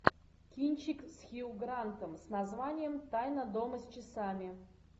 кинчик с хью грантом с названием тайна дома с часами